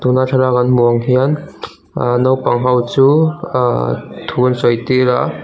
tuna thlalak kan hmuh ang hian ahh naupang ho chu ahh thu an sawi tir a.